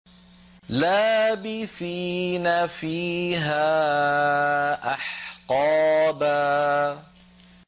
لَّابِثِينَ فِيهَا أَحْقَابًا